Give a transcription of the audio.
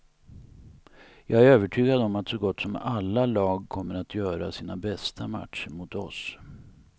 Jag är övertygad om att så gott som alla lag kommer att göra sina bästa matcher mot oss.